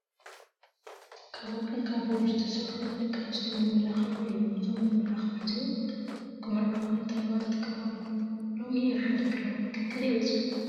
ካብ ወርቅን ካብ ቡሩር ዝተሰረሑ ናይ ደቂ ኣንስትዮ መመላኸዒ እዮም እዞም መመላክዒ እዚኦም ክምረዐዋ እንተለዋ ዝጥቃማሎም እዮም። ሎሚ ንሓደ ግራም ወርቂ ክንዳይ በፂሑ ?